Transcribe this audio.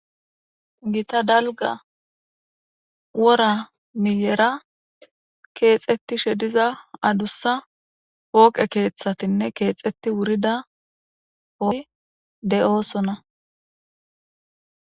Gita daliga wora miyera kexetishe diza adusa poqe keeththatinne kexeti wurida oge deosona.